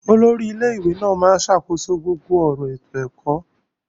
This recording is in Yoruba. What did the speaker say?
Olórí ilé ìwé ló máa ń ṣàkóso gbogbo ọ̀rọ̀ ètò ẹ̀kọ́.